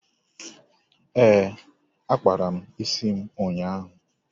Ee, akpara m isi ụnyaahụ.